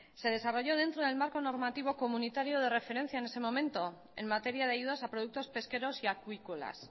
se desarrolló dentro del marco normativo comunitario de referencia en ese momento en materia de ayudas a productos pesqueros y acuícolas